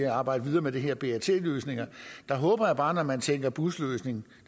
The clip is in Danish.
arbejde videre med de her brt løsninger der håber jeg bare når man tænker busløsning